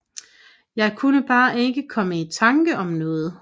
Jeg kunne bare ikke komme i tanke om noget